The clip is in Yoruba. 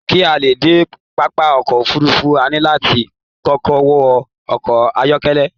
Ki a lè dé pápá ọkọ òfurùnfu, a ní láti kọkọ wọ ọkọ ayọkẹlẹ